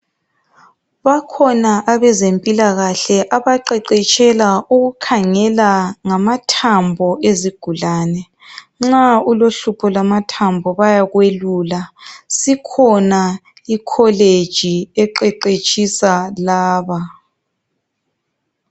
bakhona abezempilakahle abaqheqetsha ngokukhangelwa ngamathambo ezigulane nxa ulohlupho lwamathambo bayakwelula isikhona ikholeji eqheqetshisa laba